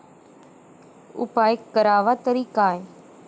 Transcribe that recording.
उपाय करावा तरी काय?